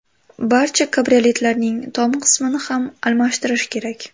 Barcha kabrioletlarning tom qismini ham almashtirish kerak.